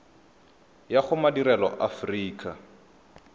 ya go madirelo a aforika